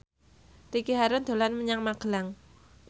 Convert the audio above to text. Ricky Harun dolan menyang Magelang